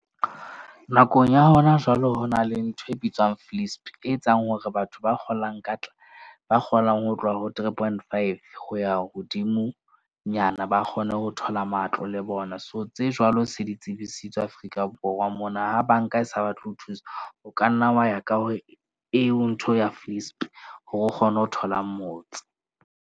Nakong ya hona jwalo, ho na le ntho e bitswang e etsang hore batho ba ba kgolang ho tloha ho three point five ho ya hodimonyana. Ba kgone ho thola matlo le bona. So, tse jwalo se di tsebisitswe Afrika Borwa mona. Ha bank-a e sa batle ho thusa, o ka nna wa ya ka hore eo ntho ya hore o kgone ho thola motse.